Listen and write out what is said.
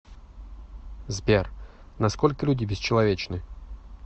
сбер на сколько люди бесчеловечны